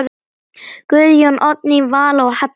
Guðjón, Oddný Vala og Halla.